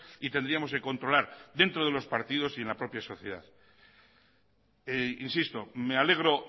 y tendríamos que controlar dentro de los partidos y en la propia sociedad insisto me alegro